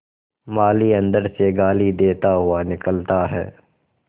माली अंदर से गाली देता हुआ निकलता है